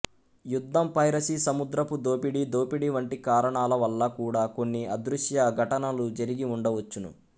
యుద్ధం పైరసీ సముద్రపు దోపిడి దోపిడి వంటి కారణాల వల్ల కూడా కొన్ని అదృశ్య ఘటనలు జరిగి ఉండవచ్చును